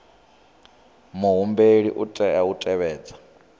muhumbeli u tea u tevhedza